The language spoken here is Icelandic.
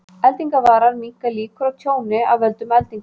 Eldingavarar minnka líkur á tjóni af völdum eldinga.